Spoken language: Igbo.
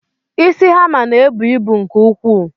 Isi hammer ná-ebu ịbụ nke ukwuu.